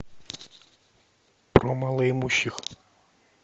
про малоимущих